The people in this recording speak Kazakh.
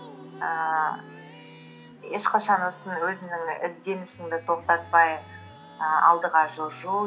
ііі ешқашан осы өзіңнің ізденісіңді тоқтатпай і алдыға жылжу